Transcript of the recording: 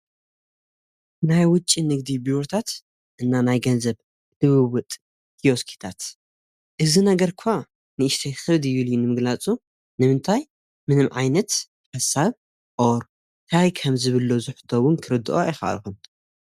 ናይ ውጭ ንግዲ ብርታት እና ናይ ገንዘብ ድብውጥ ቲዮስኪታት እዝ ነገር እኳ ንእሽተይ ክርድ ዩል ዩ ንምግላጹ ንምንታይ ምንም ዓይነት ፈሳብ ኦር ካይ ከም ዝብሎ ዙሕቶውን ክርድኦ ኣየኸርኹን።